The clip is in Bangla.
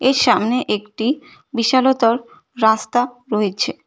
এর সামনে একটি বিশালতর রাস্তা রয়েছে।